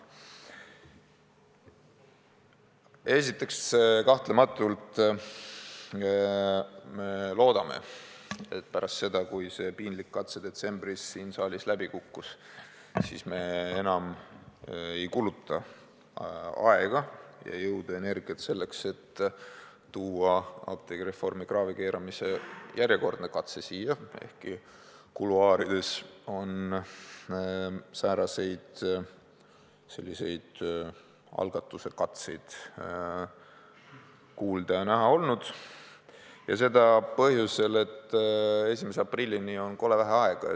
Esiteks, kahtlematult me loodame, et pärast seda, kui see piinlik katse detsembris siin saalis läbi kukkus, me enam ei kuluta aega, jõudu ja energiat selleks, et tuua apteegireformi kraavi keeramise järjekordne katse siia – ehkki kuluaarides on selliseid algatuse katseid kuulda ja näha olnud –, ja seda põhjusel, et 1. aprillini on kole vähe aega.